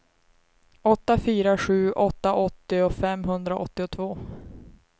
åtta fyra sju åtta åttio femhundraåttiotvå